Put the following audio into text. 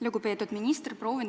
Lugupeetud minister!